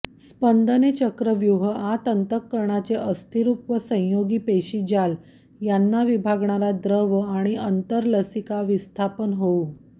स्पंदने चक्रव्यूह आत अंतर्कणाचे अस्थिरूप व संयोगी पेशीजाल यांना विभागणारा द्रव आणि अंतर्लसिका विस्थापन होऊ